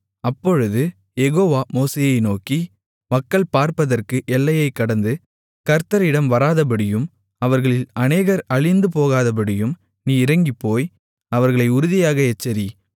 அப்பொழுது யெகோவா மோசேயை நோக்கி மக்கள் பார்ப்பதற்கு எல்லையைக் கடந்து கர்த்தரிடம் வராதபடியும் அவர்களில் அநேகர் அழிந்துபோகாதபடியும் நீ இறங்கிப்போய் அவர்களை உறுதியாக எச்சரி